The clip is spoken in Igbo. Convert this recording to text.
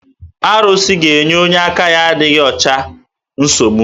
Arụsị ga-enye onye aka ya na-adịghị ọcha nsogbu